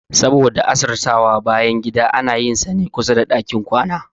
Saboda asirtawa, bayangida ana yin sane kusada ɗakin kwana